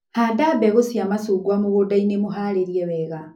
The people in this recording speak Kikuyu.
Handa mbegũ cia macungwa mũgũndainĩ mũharĩrie wega.